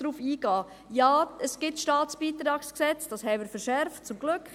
Ja, es gibt das StBG, dieses wurde verschärft, zum Glück.